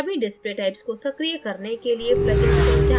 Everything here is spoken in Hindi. सभी display typesको सक्रिय करने के लिए pluginsपर जाएँ